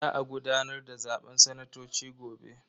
Za a gudanar da zaben sanatoci gobe.